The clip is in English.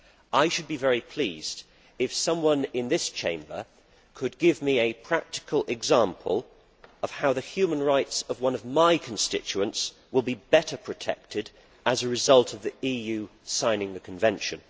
I should be very pleased if someone in this Chamber could give me a practical example of how the human rights of one of my constituents will be better protected as a result of the EU signing the convention.